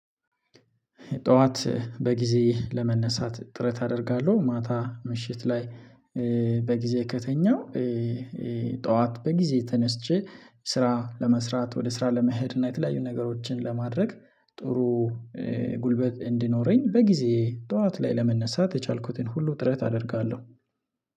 ጠዋት በጊዜ ለመነሳት ጥረት አደርጋለሁ ማታ ምሽት ላይ በጊዜ ከተኛው። ጠዋት በጊዜ ተነስቼ ስራ ለመስራት ወደ ስራ ለመሄድ እና የተለያዩ ነገሮችን ለማድረግ ጥሩ ጉልበት እንዲኖረኝ በጊዜ ጠዋት ላይ ለመነሳት የቻልኩትን ሁሉ ጥረት አደርጋለሁ።